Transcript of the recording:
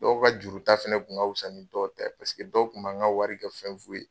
Dɔw ka juru ta fana kun ka fisa ni dɔw ta ye paseke dɔw tun b'an ka wari kɛ fɛn fu ye.